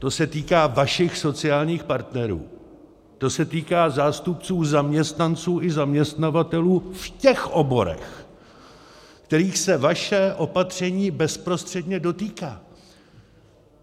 To se týká vašich sociálních partnerů, to se týká zástupců zaměstnanců i zaměstnavatelů v těch oborech, kterých se vaše opatření bezprostředně dotýká.